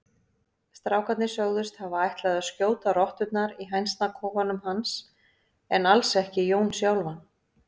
Strákarnir sögðust hafa ætlað að skjóta rotturnar í hænsnakofanum hans en alls ekki Jón sjálfan.